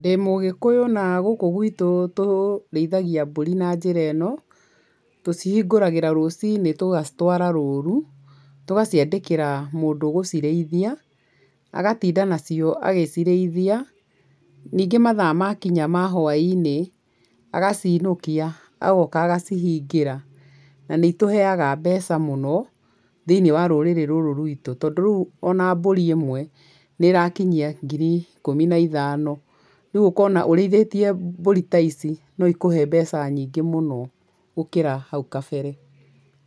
Ndĩ mũgĩkũyũ na gũkũ gwitũ tũrĩithagia mbũri na njĩra ĩno, tũcihingũragĩra rũciinĩ tũgacitwara rũũru, tũgaciandĩkĩra mũndũ ũgũcirĩithia, agatinda nacio agĩcirĩithia, ningĩ mathaa makinya ma hwa-inĩ, agaciinũkia, agoka agacihingĩra. Na nĩ itũheaga mbeca mũno thĩiniĩ wa rũrĩrĩ rũrũ rwitũ tondũ rĩu ona mbũri imwe nĩ ĩrakinyia ngiri ikũmi na ithano, rĩu ũkona ũrĩithĩtie mbũri ta ici no ikũhe mbeca nyingĩ mũno gũkĩra hau kabere.